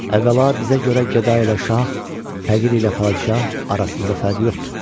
Əvvəla, bizə görə gəda ilə şah, təğir ilə padşah arasında fərq yoxdur.